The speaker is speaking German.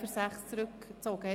Ziffer 6 wurde zurückgezogen.